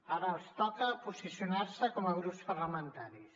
ara els toca posicionar se com a grups parlamentaris